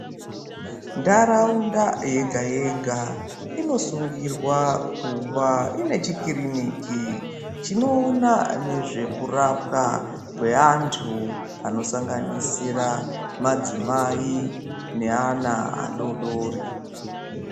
Ntaraunda yega-yega, inosungirwa kuva ine chikiriniki, chinoona nezvekurapwa kweantu anosanganisira madzimai, neana adodori.